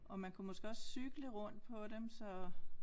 Og man kunne måske også cykle rundt på dem så